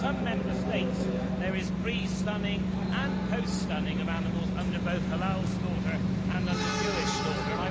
In some Member States there is pre stunning and post stunning of animals under both halal slaughter and under Jewish slaughter.